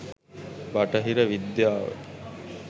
"බටහිර විද්‍යාව"